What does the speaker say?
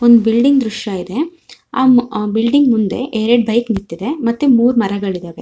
ಒಂದು ಬಿಲ್ಡಿಂಗ್ ದೃಶ್ಯ ಇದೆ ಅಮ್ ಅಹ್ ಬಿಲ್ಡಿಂಗ್ ಮುಂದೆ ಎರಡ ಬೈಕ್ ನಿಂತಿದೆ ಮತ್ತೆ ಮೂರ್ ಮರಗಳಿದವೆ.